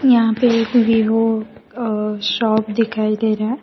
यहां पे एक वीवो शॉप दिखाई दे रहा--